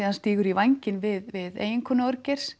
hann stígur í vænginn við eiginkonu